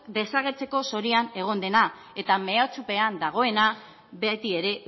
desagertzeko zorian egon dena eta mehatxupean dagoena beti ere